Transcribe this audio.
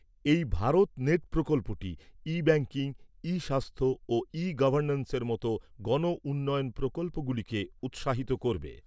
এই ভারত নেট প্রকল্পটি e banking, e স্বাস্থ্য ও ই গভর্ন্যান্সের মতো গণ উন্নয়ন প্রকল্পগুলিকে উৎসাহিত করবে।